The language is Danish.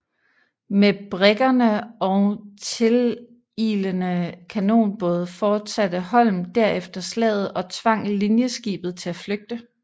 Med briggerne og tililende kanonbåde fortsatte Holm derefter slaget og tvang linjeskibet til at flygte